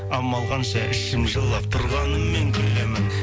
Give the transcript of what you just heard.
амал қанша ішім жылап тұрғанымен күлемін